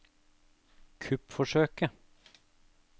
kuppforsøket